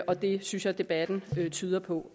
og det synes jeg debatten tyder på